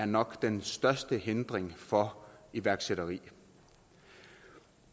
nok er den største hindring for iværksætteri